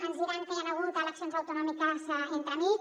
ens diran que hi han hagut eleccions autonòmiques entremig